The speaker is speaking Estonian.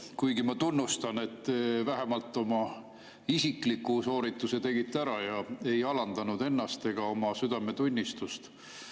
Kuigi ma tunnustan, et te vähemalt oma isikliku soorituse tegite ära ja ei alandanud ennast ega oma südametunnistust.